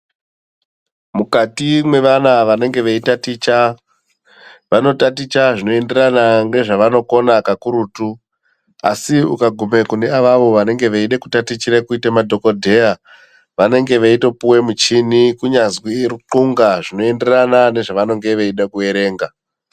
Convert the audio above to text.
Mukati mwevana vanenge veyitaticha, vanotaticha zvinoenderana ngezvavanokona kakurutu, asi ukagume kune avavo vanenge veyide kutatichire kuyite madhokodheya, vanenge veyitopuwe muchini kunyazwi runxunga zvinoenderana nezvavanonge veyida kuerenga.